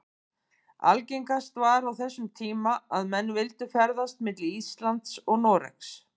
Algengast var á þessum tíma að menn vildu ferðast milli Íslands og Noregs.